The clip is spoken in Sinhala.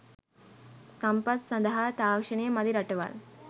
සම්පත් සඳහා තාක්ෂණය මදි රටවල්